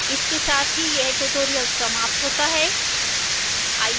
इसके साथ ही यह ट्यूटोरियल समाप्त होता है